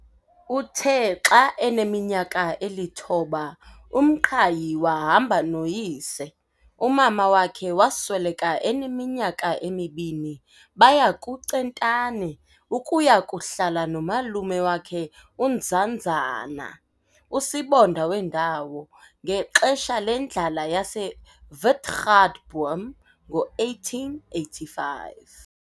Uthe xa eneminyaka elithoba, uMqhayi wahamba noyise umama wakhe wasweleka eneminyaka emibini baya kuCentane ukuya kuhlala nomalume wakhe uNzanzana, usibonda wendawo, ngexesha lendlala yaseWitgatboom ngo-1885.